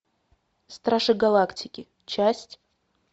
стражи галактики часть